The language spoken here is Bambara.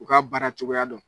U ka baara cogoya dɔn.